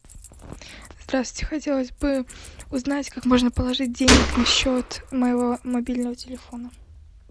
здравствуйте хотелось бы узнать как можно положить денег на счет моего мобильного телефона